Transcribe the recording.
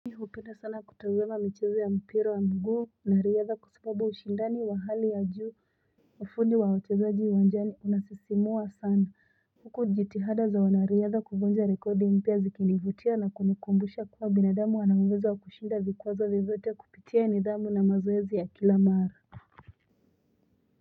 Upenda sana kutazama michezo ya mpira wa miguu nariyadha kwasababu ushindani wa hali ya juu ufundi wa watezaji uwanjani unasisimua sana huku jitihada za wanariyadha kuvunja rekodi mpya zikinivutia na kunikumbusha kuwa binadamu anauwezo wakushinda vikwazo vyovyote kupitia nidhamu na mazoezi ya kila mara.